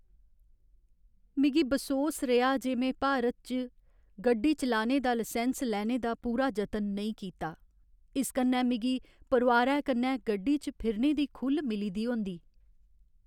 मिगी बसोस रेहा जे में भारत इच्च गड्डी चलाने दा लसैंस लैने दा पूरा जतन नेईं कीता । इस कन्नै मिगी परोआरै कन्नै गड्डी च फिरने दी खु'ल्ल मिली दी होंदी ।